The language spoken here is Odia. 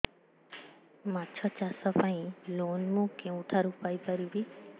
ମାଛ ଚାଷ ପାଇଁ ଲୋନ୍ ମୁଁ କେଉଁଠାରୁ ପାଇପାରିବି